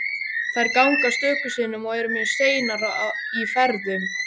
Þær ganga stöku sinnum og eru mjög seinar í ferðum.